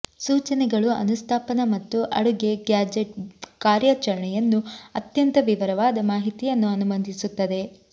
ಸೂಚನೆಗಳು ಅನುಸ್ಥಾಪನ ಮತ್ತು ಅಡುಗೆ ಗ್ಯಾಜೆಟ್ ಕಾರ್ಯಾಚರಣೆಯನ್ನು ಅತ್ಯಂತ ವಿವರವಾದ ಮಾಹಿತಿಯನ್ನು ಅನುಮತಿಸುತ್ತದೆ